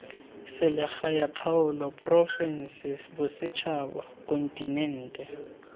selegae kgaolo porofense bosetšhaba kontinente